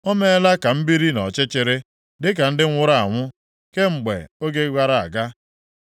O meela ka m biri nʼọchịchịrị dịka ndị nwụrụ anwụ kemgbe oge gara aga.